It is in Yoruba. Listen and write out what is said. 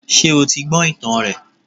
Sé o ti gbó ìtàn rẹ̀